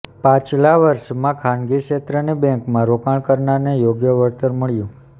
પાછલા વર્ષોમાં ખાનગી ક્ષેત્રની બેન્કોમાં રોકાણ કરનારને યોગ્ય વળતર મળ્યું